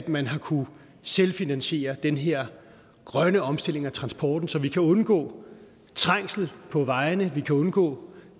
man har kunnet selvfinansiere den her grønne omstilling af transporten så vi kan undgå trængsel på vejene og vi kan undgå